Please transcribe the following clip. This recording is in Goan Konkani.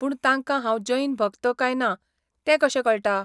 पूण तांकां हांव जैन भक्त काय ना तें कशें कळटा?